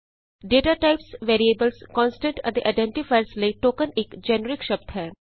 data types variables constant ਅਤੇ identifiers ਲਈ token ਇਕ ਜੇਨਰਿਕ ਸ਼ਬਦ ਹੈ